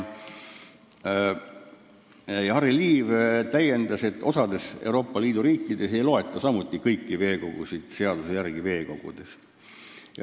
Harry Liiv selgitas, et osas Euroopa Liidu riikides ei loeta samuti kõiki veekogusid seaduse järgi veekogudeks.